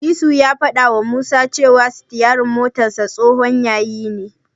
Disu ya fadawa Musa cewa sitiyarinsa tsohon yayi ne.